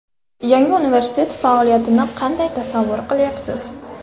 Yangi universitet faoliyatini kanday tasavvur qilyapsiz?